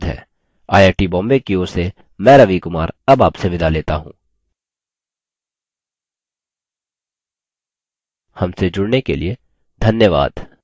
I I T Bombay की ओर से मैं रवि कुमार अब आपसे विदा लेता हूँ हमसे जुड़ने के लिए धन्यवाद